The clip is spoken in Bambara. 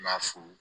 N b'a f'u